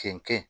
Cɛncɛn